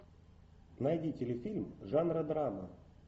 найди телефильм жанра драма